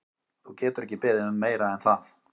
Þú getur ekki beðið um meira en það.